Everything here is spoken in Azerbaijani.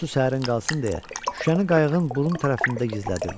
Su səhərin qalsın deyə şüşəni qayıqın burun tərəfində gizlədirdi.